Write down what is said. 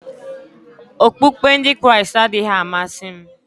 Okpukpe Ndị Kraịst adịghị m amasị m